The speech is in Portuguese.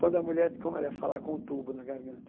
Quando a mulher, como ela ia falar com o tubo na garganta.